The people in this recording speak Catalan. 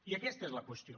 i aquesta és la qüestió